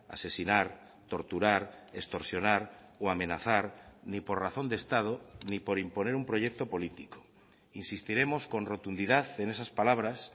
asesinar torturar extorsionar o amenazar ni por razón de estado ni por imponer un proyecto político insistiremos con rotundidad en esas palabras